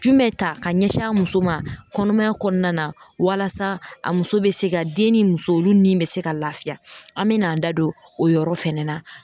Jumɛn ta ka ɲɛsin a muso ma kɔnɔmaya kɔnɔna na walasa a muso bɛ se ka den ni muso olu ni bɛ se ka laafiya an bɛ n'an da don o yɔrɔ fɛnɛ na.